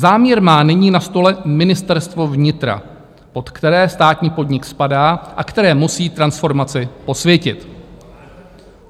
Záměr má nyní na stole Ministerstvo vnitra, pod které státní podnik spadá a které musí transformaci posvětit.